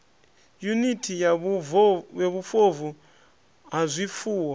yuniti ya vhufobvu ha zwifuwo